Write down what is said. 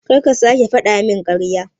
Karka sake fadamin karya.